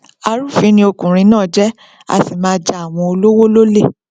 arúfin ni ọkùnrin náà jẹ a sì máa ja àwọn olówó lole